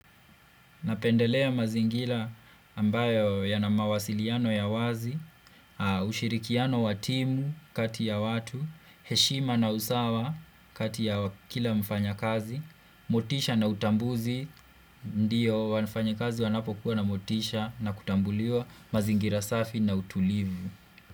Napendelea mazingira ambayo yana mawasiliano ya wazi, ushirikiano wa timu kati ya watu, heshima na usawa kati ya kila mfanyakazi, motisha na utambuzi, ndiyo wafanyakazi wanapokuwa na motisha na kutambuliwa mazingira safi na utulivu.